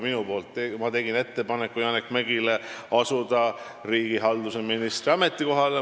Mina tegin Janek Mäggile ettepaneku asuda riigihalduse ministri ametikohale.